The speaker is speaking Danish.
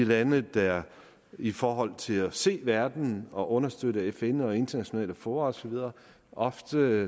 lande der i forhold til at se verden og understøtte fn og de internationale fora og så videre ofte er